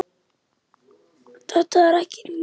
Þetta er ekkert nýtt.